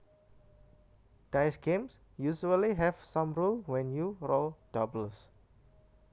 Dice games usually have some rule when you roll doubles